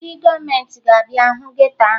Ndị gọọmenti ga-abịa hụ geto ahụ